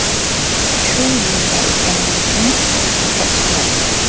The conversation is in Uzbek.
Shu yerda ekanliging katta sharaf.